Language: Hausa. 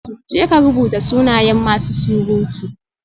Jeka rubuta sunayen masu surutu